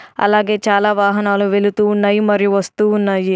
అలాగే చాలా వాహనాలు వెళుతూ ఉన్నాయి మరియు వస్తూ ఉన్నాయి.